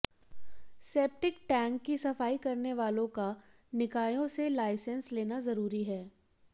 septic tank की सफाई करने वालों का निकायों से लाइसेंस लेना जरूरी है